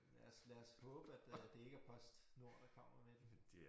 Lad os lad os håbe at øh det ikke er PostNord der kommer med dem